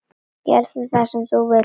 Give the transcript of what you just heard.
Gerðu það sem þú vilt!